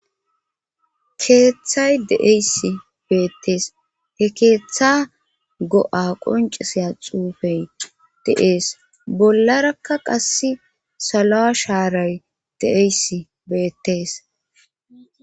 Keeththay deeysi beettees he keeththa go7a qoncisea xuufey de7ees bollarakka qass salo7a shaaray de7eysi beettees.